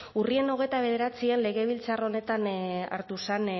urriaren hogeita bederatzian legebiltzar honetan hartu zen